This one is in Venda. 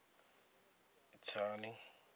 itsani